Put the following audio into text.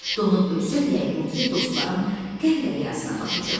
Donub ölsəm, yəqin ki, dostlarım qəm dəryasına batacaq.